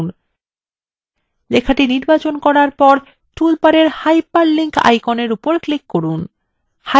লেখাটি নির্বাচন করার পর toolbar hyperlink আইকনের উপর click করুন